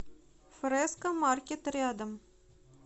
фрэско маркет рядом